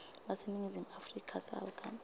baseningizimu afrika salga